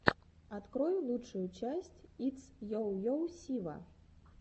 открой лучшую часть итс йо йо сива